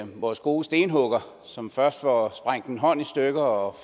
vores gode stenhugger som først får sprængt en hånd i stykker og